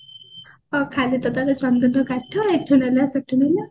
ଖାଲି ତ ଚନ୍ଦନ କାଠ ଏଠୁ ନେଲା ସେଠୁ ନେଲା